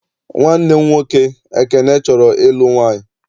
Nwanne m nwoke Ekene chọrọ ịlụ nwaanyị.